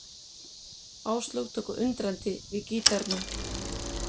Áslaug tók undrandi við gítarnum.